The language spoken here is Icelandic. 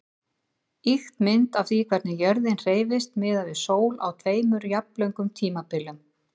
Ýkt mynd af því hvernig jörðin hreyfist miðað við sól á tveimur jafnlöngum tímabilum.